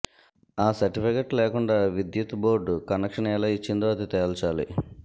ఆ సర్టిఫికెట్టు లేకుండా విద్యుత్ బోర్డు కనక్షన్ ఎలా యిచ్చిందో అది తేల్చాలి